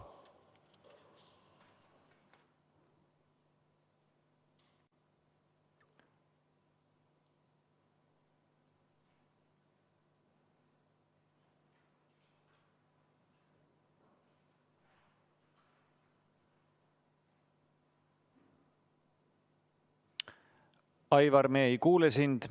Aivar, me ei kuule sind.